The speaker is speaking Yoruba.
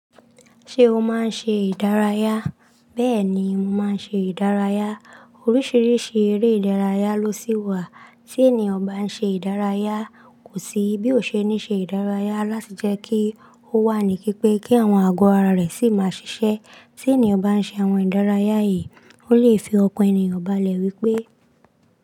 Ṣé o máa ń ṣe ìdárayá? Bẹ́ẹ̀ni, mo máa ń ṣe ìdárayá. Oríṣiríṣi eré ìdárayá ló sì wà. Tí ènìyàn bá ń ṣe ìdárayá, kò sí bí ó ṣe ní ṣe ìdárayá láti jẹ́ kí ó wà ní kí pé kí àwọn àgọ́ ara rẹ̀ sì máa ṣiṣẹ́. Tí ènìyàn bá ń ṣe àwọn ìdárayá yìí, ó lè fi ọkàn ènìyàn balẹ̀ wípé.